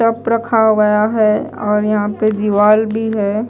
रखा गया है और यहां पे दीवाल भी हैं।